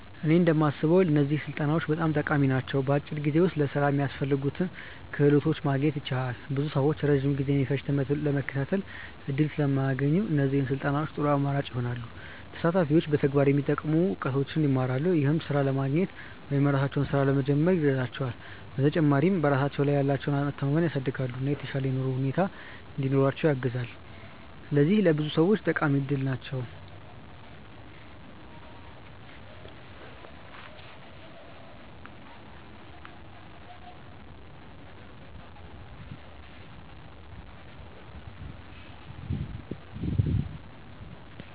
እኔ እንደማስበው እነዚህ ስልጠናዎች በጣም ጠቃሚ ናቸው። በአጭር ጊዜ ውስጥ ለሥራ የሚያስፈልጉ ክህሎቶችን ማግኘት ያስችላሉ። ብዙ ሰዎች ረጅም ጊዜ የሚፈጅ ትምህርት ለመከታተል እድል ስለማያገኙ፣ እነዚህ ስልጠናዎች ጥሩ አማራጭ ይሆናሉ። ተሳታፊዎች በተግባር የሚጠቅሙ እውቀቶችን ይማራሉ፣ ይህም ሥራ ለማግኘት ወይም የራሳቸውን ሥራ ለመጀመር ይረዳቸዋል። በተጨማሪም በራሳቸው ላይ ያላቸውን መተማመን ያሳድጋሉ፣ እና የተሻለ የኑሮ ሁኔታ እንዲኖራቸው ያግዛሉ። ስለዚህ ለብዙ ሰዎች ጠቃሚ እድል ናቸው።